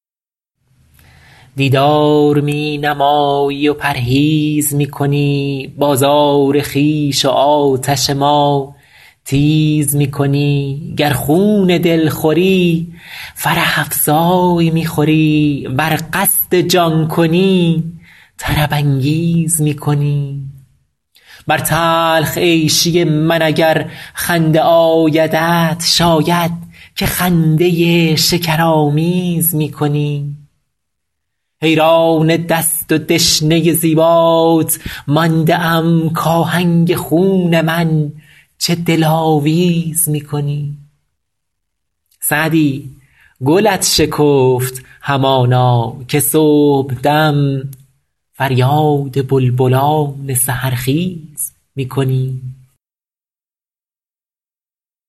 دیدار می نمایی و پرهیز می کنی بازار خویش و آتش ما تیز می کنی گر خون دل خوری فرح افزای می خوری ور قصد جان کنی طرب انگیز می کنی بر تلخ عیشی من اگر خنده آیدت شاید که خنده شکرآمیز می کنی حیران دست و دشنه زیبات مانده ام کآهنگ خون من چه دلاویز می کنی سعدی گلت شکفت همانا که صبحدم فریاد بلبلان سحرخیز می کنی